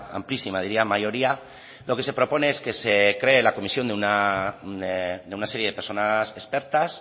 amplísima diría mayoría lo que se propone es que se cree la comisión de una serie de personas expertas